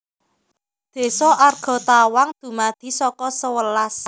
Désa Argatawang dumadi saka sewelas